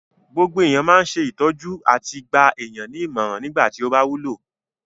Gbogbo èèyàn máa ń ṣe ìtọ́jú àti gba èèyàn ní ìmọ̀ràn nígbà tí ó bá wúlò